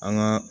An ka